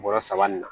Bɔrɔ saba nin na